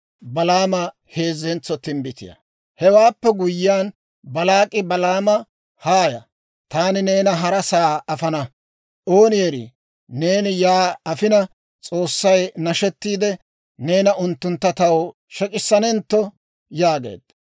Hewaappe guyyiyaan, Baalaak'i Balaama, «Haaya; taani neena harasaa afana. Ooni erii, neena yaa afina S'oossay nashettiide, neena unttuntta taw shek'isanentto» yaageedda.